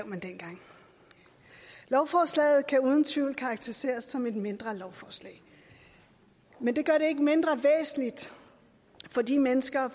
man dengang lovforslaget kan uden tvivl karakteriseres som et mindre lovforslag men det gør det ikke mindre væsentligt for de mennesker